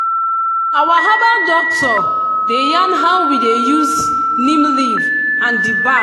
our herbal doctor dey yarn how we dey use neem leaf and di bark.